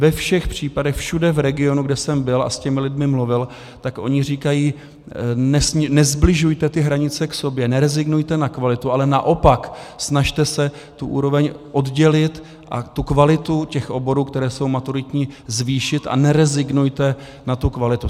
Ve všech případech všude v regionu, kde jsem byl a s těmi lidmi mluvil, tak oni říkají: nesbližujte ty hranice k sobě, nerezignujte na kvalitu, ale naopak snažte se tu úroveň oddělit a tu kvalitu těch oborů, které jsou maturitní, zvýšit a nerezignujte na tu kvalitu.